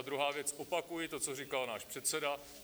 A druhá věc, opakuji to, co říkal náš předseda.